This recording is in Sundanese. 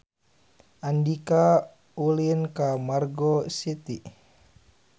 Andika ulin ka Margo City